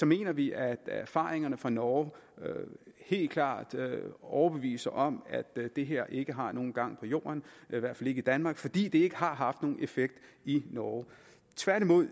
mener vi at erfaringerne fra norge helt klart overbeviser os om at det her ikke har nogen gang på jord i hvert fald ikke i danmark fordi det ikke har haft nogen effekt i norge tværtimod